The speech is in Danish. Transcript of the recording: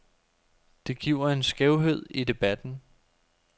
Det giver en skævhed i debatten.